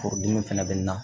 Forodimi fɛnɛ bɛ na